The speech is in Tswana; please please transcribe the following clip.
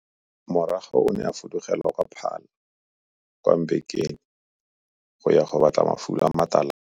Morago o ne a fudugela kwa Mbekweni kwa Paarl go ya go batla mafulo a matalana.